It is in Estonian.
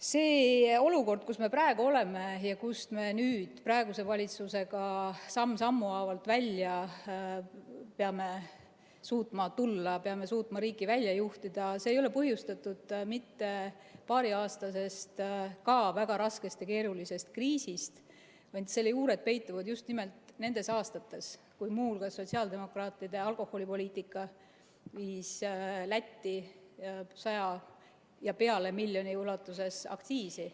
See olukord, kus me praegu oleme ja kust me praeguse valitsusega samm sammu haaval peame suutma välja tulla, kust me peame suutma riigi välja juhtida, ei ole põhjustatud mitte paariaastasest ka väga raskest ja keerulisest kriisist, vaid selle juured peituvad just nimelt nendes aastates, kui muu hulgas sotsiaaldemokraatide alkoholipoliitika viis Lätti üle 100 miljoni euro ulatuses aktsiisi.